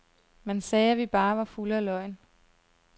Man sagde, at vi bare var fulde af løgn.